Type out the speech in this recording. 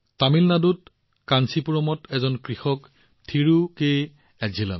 তামিলনাডুত থিৰু কে এজিলনৰ কাঞ্চীপুৰমত এজন কৃষক আছে